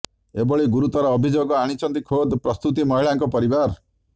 ଏଭଳି ଗୁରୁତର ଅଭିଯୋଗ ଆଣିଛନ୍ତି ଖୋଦ୍ ପ୍ରସୂତୀ ମହିଳାଙ୍କ ପରିବାର